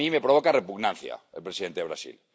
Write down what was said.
A mí me provoca repugnancia el presidente de Brasil.